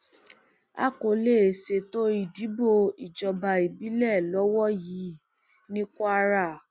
a kò lè ṣètò ìdìbò ìjọba ìbílẹ lọwọ yìí ní kwara